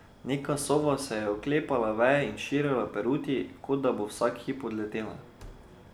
Neka sova se je oklepala veje in širila peruti, kot da bo vsak hip odletela.